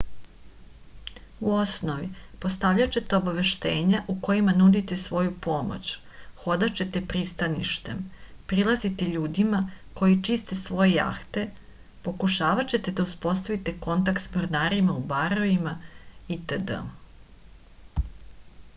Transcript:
u osnovi postavljaćete obaveštenja u kojima nudite svoju pomoć hodaćete pristaništem prilaziti ljudima koji čiste svoje jahte pokušavaćete da uspostavite kontakt sa mornarima u barovima itd